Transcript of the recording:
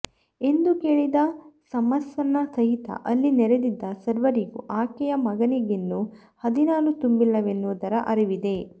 ಎಂದು ಕೇಳಿದ ಸಮ್ಮರ್ಸನ ಸಹಿತ ಅಲ್ಲಿ ನೆರೆದಿದ್ದ ಸರ್ವರಿಗೂ ಆಕೆಯ ಮಗನಿಗಿನ್ನೂ ಹದಿನಾರು ತುಂಬಿಲ್ಲವೆನ್ನುವುದರ ಅರಿವಿದೆ